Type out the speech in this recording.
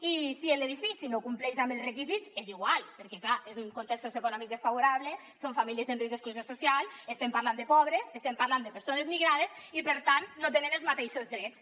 i si l’edifici no compleix amb els requisits és igual perquè és clar és un context socioeconòmic desfavorable són famílies en risc d’exclusió social estem parlant de pobres estem parlant de persones migrades i per tant no tenen els mateixos drets